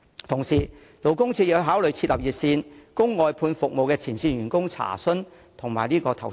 同時，勞工處可考慮設立熱線，供外判服務的前線員工查詢及投訴。